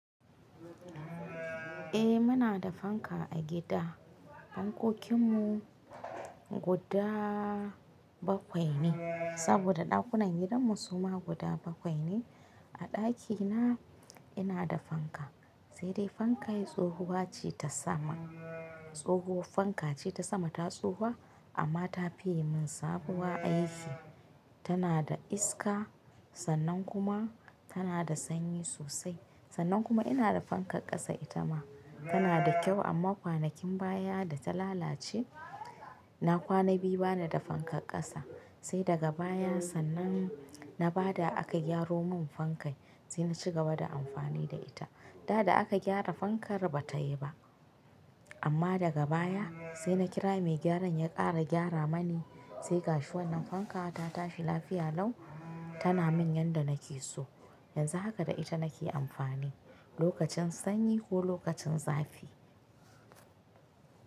Eh muna da fanka a gida. Fankokin mu guda bakwai ne, saboda daƙunan gidan mu suma guda bakwai ne. A daƙina ina da fanka, sai dai fanka yi tsohuwa ce ta sama. Tsohuwar fanka ce ta sama ta tsufa amma ta fi ye min sabuwa aiki. Tana da iska sannan kuma tana da sanyi sosai. Sannan kuma ina da fankar ƙasa ita ma tana da kyau amma kwanakin baya da ta lalace. Na kwana biyu bana da fankar ƙasa, sai daga baya sannan na ba da aka gyaro mun fankai sai na ci gaba da amfani da ita. Da da aka gyara fankar bata yi ba amma daga baya sai na kira mai gyaran ya ƙara gyara mani sai gashi wannan fanka ta tafi lafiya lau tana min yanda nake so. Yanzu haka da ita nake amfani lokacin sanyi ko lokacin zafi.